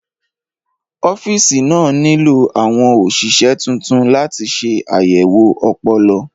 Ọ́fíìsì náà nílò àwọn òṣìṣẹ́ tuntun láti ṣe àyẹ̀wò ọpọlọ.